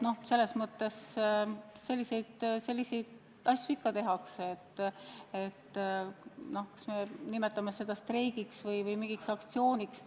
Selliseid asju ikka tehakse, kas me nimetame neid streikideks või aktsioonideks.